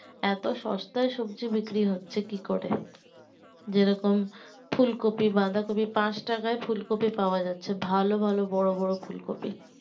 এত সস্তাই সবজি বিক্রি হচ্ছে কি করে যেরকম ফুলকপি বাঁধা কপি পাঁচ টাকা ফুলকপি পাওয়া যাচ্ছে ভালো ভালো বড়ো বড়ো ফুলকপি